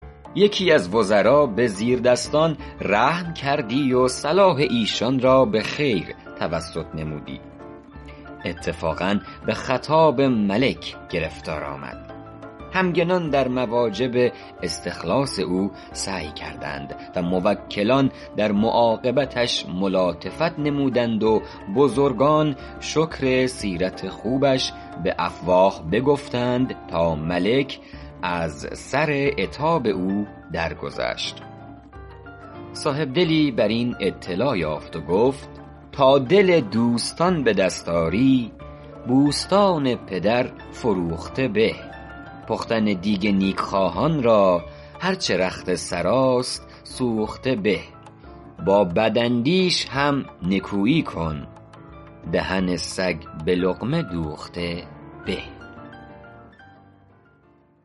یکی از وزرا به زیردستان رحم کردی و صلاح ایشان را به خیر توسط نمودی اتفاقا به خطاب ملک گرفتار آمد همگنان در مواجب استخلاص او سعی کردند و موکلان در معاقبتش ملاطفت نمودند و بزرگان شکر سیرت خوبش به افواه بگفتند تا ملک از سر عتاب او درگذشت صاحبدلی بر این اطلاع یافت و گفت ﺗﺎ دل دوﺳﺘﺎن ﺑﻪ دﺳﺖ ﺁری ﺑﻮﺳﺘﺎن ﭘﺪر ﻓﺮوﺧﺘﻪ ﺑﻪ پختن دیگ نیکخواهان را هر چه رخت سراست سوخته به ﺑﺎ ﺑﺪاﻧﺪﻳﺶ هم ﻧﻜﻮﻳﻰ کن دهن ﺳﮓ ﺑﻪ ﻟﻘﻤﻪ دوﺧﺘﻪ ﺑﻪ